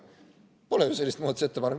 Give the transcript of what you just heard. Pole ju sellist muudatusettepanekut.